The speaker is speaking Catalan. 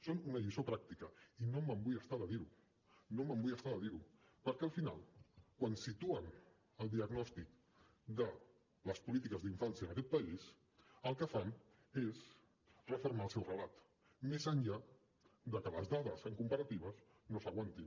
són una lliçó pràctica i no em vull estar de dirho no em vull estar de dir ho perquè al final quan situen el diagnòstic de les polítiques d’infància en aquest país el que fan és refermar el seu relat més enllà de que les dades amb comparatives no s’aguantin